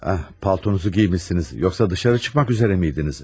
Paltunuzu geymişsiniz, yoxsa dışarı çıxmaq üzərə miydiniz?